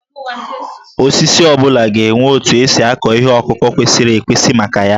Osisi ọ bụla ga-enwe otu esi akụ ihe ọkụkụ kwesịrị ekwesị maka ya